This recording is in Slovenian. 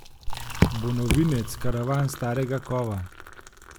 Bo novinec karavan starega kova?